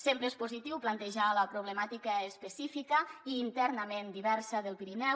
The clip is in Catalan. sempre és positiu plantejar la problemàtica específica i internament diversa del pirineu